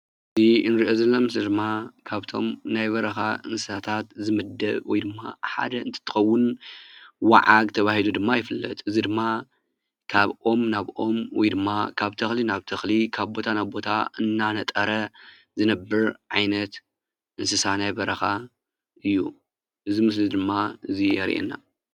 እዚ እንርእዮ ዘለና ምስሊ ድማ ካብቶም ናይ በረኻ እንስሳታት ዝምደብ ወይ ድማ ሓደ እንትትኸውን ዋዓግ ተባሂሉ ድማ ይፍለጥ ። እዚ ድማ ካብ ኦም ናብ ኦም ወይ ድማ ካብ ተኽሊ ናብ ተኽሊ ካብ ቦታ ናብ ቦታ እንናነጠረ ዝነብር ዓይነት እንስሳ ናይ በረኻ እዩ። እዚ ምስሊ ድማ እዙይ የርእየና ።